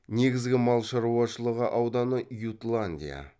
негізгі мал шаруашылығы ауданы ютландия